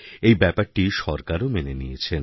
এই ব্যাপারটি সরকারও মেনে নিয়েছেন